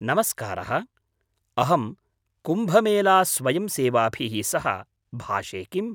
नमस्कारः, अहं कुम्भमेलास्वयंसेवाभिः सह भाषे किम्?